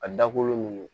A dakolo nunnu